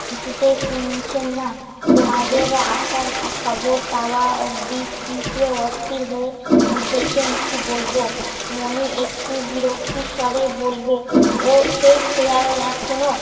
কিছুতেই শুনছেন না। তোমাদের আসার খবর পাওয়া অবধি কি যে অস্থির হয়ে উঠেছেন কি বলব। মণি একটু বিরক্তির স্বরে বলবে, ওর সেই খেয়াল এখনো